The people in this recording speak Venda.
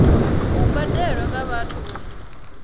si badelwe nga vhathu uri